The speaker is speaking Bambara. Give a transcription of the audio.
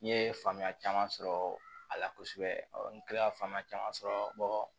N ye faamuya caman sɔrɔ a la kosɛbɛ n kilala caman sɔrɔ